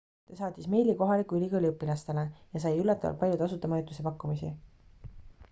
ta saatis meili kohaliku ülikooli õpilastele ja sai üllatavalt palju tasuta majutuse pakkumisi